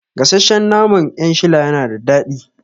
Gasashshen naman 'yan shila yana da daɗi